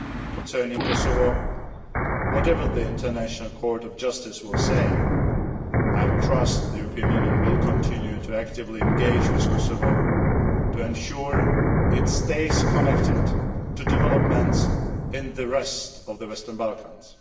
Concerning Kosovo, whatever the International Court of Justice says, I trust the European Union will continue to actively engage with Kosovo to ensure it stays connected to developments in the rest of the Western Balkans.